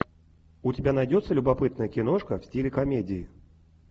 у тебя найдется любопытная киношка в стиле комедии